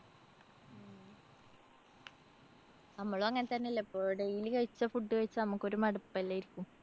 നമ്മളും അങ്ങനെ തന്നല്ലേ? ഇപ്പോ daily കഴിച്ച food കഴിച്ച നമ്മക്കൊരു ഒരു മടുപ്പല്ലായിരിക്കും.